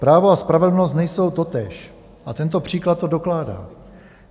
Právo a spravedlnost nejsou totéž a tento příklad to dokládá.